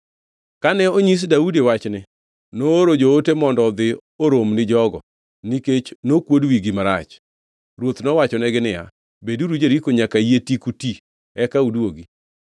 Kane onyis Daudi wachni, nooro joote mondo odhi orom ni jogo, nikech nokuod wigi marach. Ruoth nowachonegi niya, “Beduru Jeriko nyaka yie tiku ti, eka uduogi.”